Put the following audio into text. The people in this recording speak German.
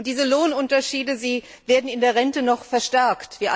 Diese Lohnunterschiede werden in der Rente noch verstärkt.